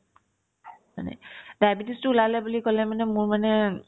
মানে diabetes তো ওলালে বুলি ক'লে মানে মোৰ মানে